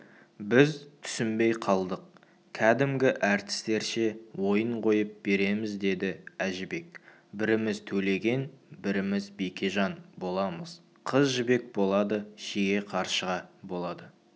біз түсінбей қалдық кәдімгі әртістерше ойын қойып береміз деді әжібек біріміз төлеген біріміз бекежан боламыз қыз жібек болады шеге қаршыға болады